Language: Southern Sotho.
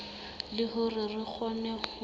le hore re kgone ho